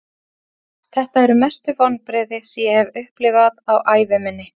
Þetta eru mestu vonbrigði sem ég hef upplifað á ævi minni.